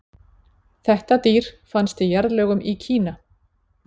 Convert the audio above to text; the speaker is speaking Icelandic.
þetta dýr fannst í jarðlögum í kína